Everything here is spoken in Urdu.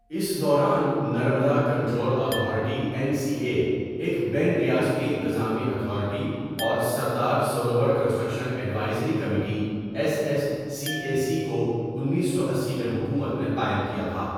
اس دوران، Narmada control authority N C A, ایک بین ریاستی انتظامی اتھارٹی اور Sardar Sarovar construction advisory committee S S C A C کو انیس سو اسی میں حکومت نے قائم کیا تھا.